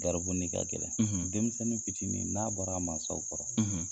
Garibu n'i ka kɛnɛn denmisɛnnin fitiinin n'a bɔra a mansaw kɔrɔ.